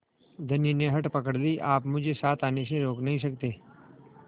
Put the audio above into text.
धनी ने हठ पकड़ ली आप मुझे साथ आने से रोक नहीं सकते